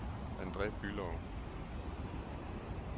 Andre Bülow